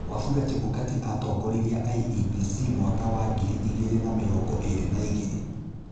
Wafula Chebukati atongoririe IEBC mwaka wa ngiri igĩrĩ na mĩrongo ĩrĩ na igĩrĩ.